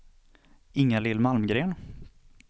Inga-Lill Malmgren